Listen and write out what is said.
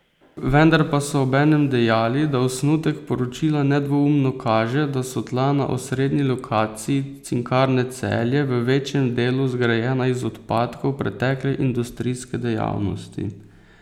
Vendar pa so obenem dejali, da osnutek poročila nedvoumno kaže, da so tla na osrednji lokaciji Cinkarne Celje v večjem delu zgrajena iz odpadkov pretekle industrijske dejavnosti.